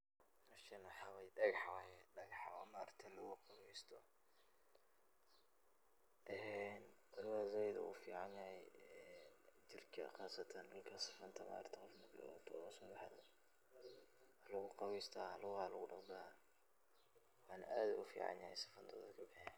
Meshan waxa wye dhagax waye dhagax oo ma aragte lugu qaweysto een luguhu zaaid ogu fican yahay ee jirka qaasatan dhulka safanta ma aragte waa lugu qaweysta lugaha lugu dhaqda wana aad uu ufican yahay safanta uu dadka kabixiya bixiya